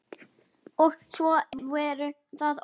Og svo voru það orðin.